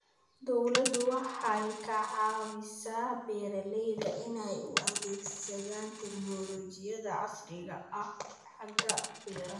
Dawladdu waxay ka caawisaa beeralayda inay u adeegsadaan tignoolajiyada casriga ah xagga beeraha.